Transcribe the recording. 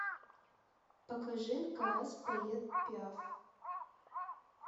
покажи каас поет пиаф